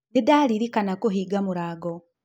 Nĩndarĩrĩkana kũhĩnga mũrango